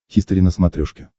хистори на смотрешке